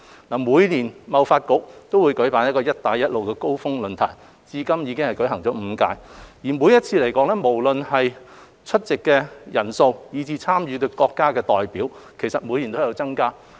政府與香港貿易發展局每年均舉辦"一帶一路高峰論壇"，至今已經舉辦了5屆，無論是出席人數以至參與的國家代表，每年都有增加。